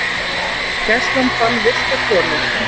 Gæslan fann villta konu